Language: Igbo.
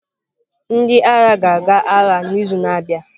Ndị agha ga-aga agha n'izu na-abịa.